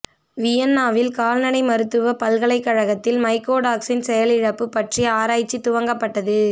வியன்னாவில் கால்நடை மருத்துவ பல்கலைக்கழகத்தில் மைக்கோடாக்ஸின் செயலிழப்பு பற்றிய ஆராய்ச்சி துவக்கப்பட்டது